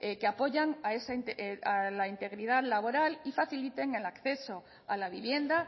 que apoyan a la integridad laboral y faciliten el acceso a la vivienda